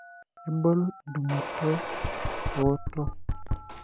iboi edungoto, iwonyot o